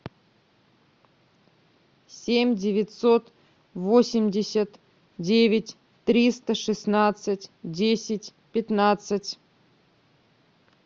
семь девятьсот восемьдесят девять триста шестнадцать десять пятнадцать